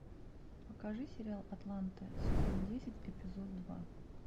покажи сериал атланты сезон десять эпизод два